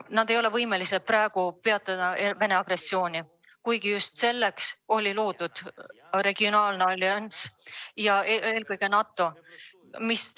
Nad ei ole võimelised praegu peatama Venemaa agressiooni, kuigi just selleks loodi regionaalne allianss, eelkõige NATO.